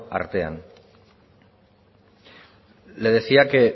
artean le decía que